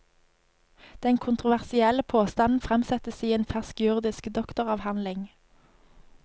Den kontroversielle påstanden fremsettes i en fersk juridisk doktoravhandling.